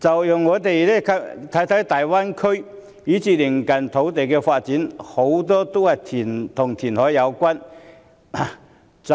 放眼大灣區以至鄰近地區的發展，大多數均與填海有關。